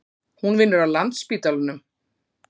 Hún vinnur á Landspítalanum.